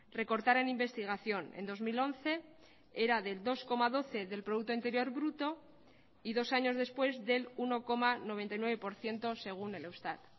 recortar en investigación en dos mil once era del dos coma doce del producto interior bruto y dos años después del uno coma noventa y nueve por ciento según el eustat